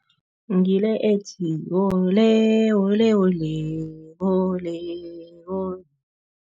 Ngile ethi, wole wole, wole, wole wole.